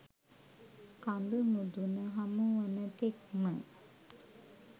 කඳු මුදුන හමු වන තෙක්ම